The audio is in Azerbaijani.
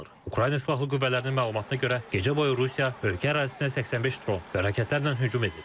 Ukrayna Silahlı Qüvvələrinin məlumatına görə, gecə boyu Rusiya ölkə ərazisinə 85 dron və raketlərlə hücum edib.